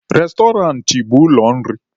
Restọrantị bụ ụlọ nri.